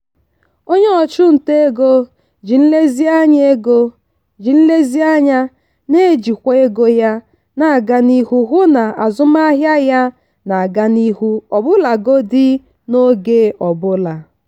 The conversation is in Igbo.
onye ọchụnta ego ji nlezianya ego ji nlezianya na-ejikwa ego ya na-aga n'ihu hụ na azụmahịa ya na-aga n'ihu ọbụlagodi n'oge ọbụla.